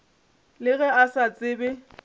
le ge a sa tsebe